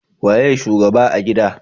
Waye shugaba a gida